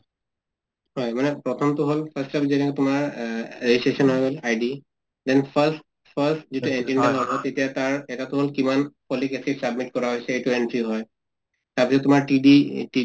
হয় মানে প্ৰথম টো হল তোমাৰ এ registration হৈ গল তোমাৰ ID then first first যিটো ID বনাব তেতিয়া তাৰ , এটা টো হল কিমান folic acid submit কৰা হৈছে সেইটো entry হয় তাৰ পিছত তোমাৰ TD TD